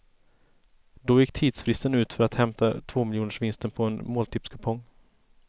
Då gick tidsfristen ut för att hämta ut tvåmiljonersvinsten på en måltipskupong.